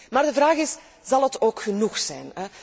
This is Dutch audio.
Maar de vraag is, zal het ook genoeg zijn?